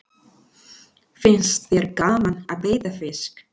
Finnst þér gaman að veiða fisk?